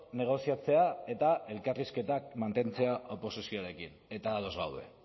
negoziatzea eta elkarrizketak mantentzea oposizioarekin eta ados gaude